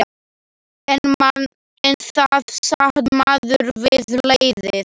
En það sat maður við leiðið.